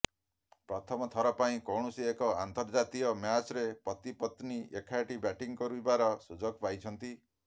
ପ୍ରଥମଥର ପାଇଁ କୌଣସି ଏକ ଅନ୍ତର୍ଜାତୀୟ ମ୍ୟାଚ୍ରେ ପତି ପତ୍ନୀ ଏକାଠି ବ୍ୟାଟିଂ କରିବାର ସୁଯୋଗ ପାଇଛନ୍ତି